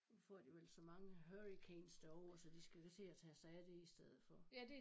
Nu får de vel så mange hurricanes derovre så de skal da til at tage sig af det i stedet for